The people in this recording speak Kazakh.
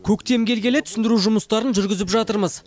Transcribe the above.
көктем келгелі түсіндіру жұмыстарын жүргізіп жатырмыз